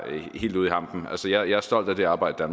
helt ude i hampen jeg er stolt af det arbejde